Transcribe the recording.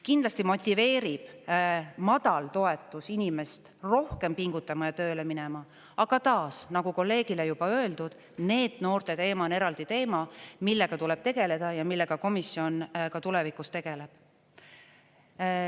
Kindlasti motiveerib madal toetus inimest rohkem pingutama ja tööle minema, aga taas, nagu kolleegile juba öeldud, NEET-noorte teema on eraldi teema, millega tuleb tegeleda ja millega komisjon ka tulevikus tegeleb.